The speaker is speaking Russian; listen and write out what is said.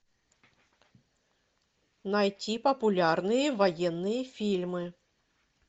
найти популярные военные фильмы